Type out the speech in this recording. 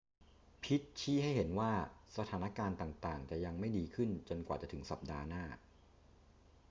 พิตต์ชี้ให้เห็นว่าสถานการณ์ต่าง ๆ จะยังไม่ดีขึ้นจนกว่าจะถึงสัปดาห์หน้า